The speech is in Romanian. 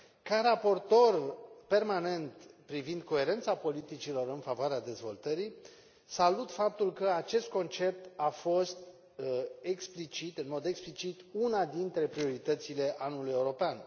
Ca raportor permanent privind coerența politicilor în favoarea dezvoltării, salut faptul că acest concept a fost în mod explicit una dintre prioritățile Anului European.